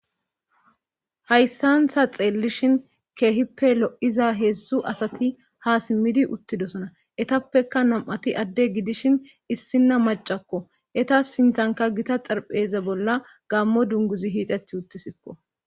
Hayssantha xeellishin keehippe lo'iza heedzdzu asati ha simmidi uttidosona etappeka nam'ati adde gidishin issinna macakko eta sintanka gita xarpheze bolla gammo dunguzi hiixeti uttisikko